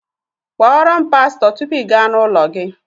Kpọọ ro'm pasto tupu i gá n'ụlọ gi!